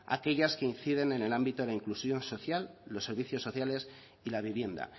aquellas que inciden en el ámbito la inclusión social los servicios sociales y la vivienda